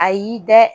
A y'i dɛ